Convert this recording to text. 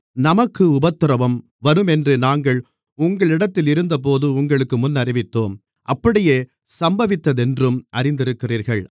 நமக்கு உபத்திரவம் வருமென்று நாங்கள் உங்களிடத்திலிருந்தபோது உங்களுக்கு முன்னறிவித்தோம் அப்படியே சம்பவித்ததென்றும் அறிந்திருக்கிறீர்கள்